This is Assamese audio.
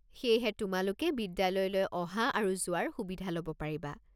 সেয়েহে তোমালোকে বিদ্যালয়লৈ অহা আৰু যোৱাৰ সুবিধা ল'ব পাৰিবা।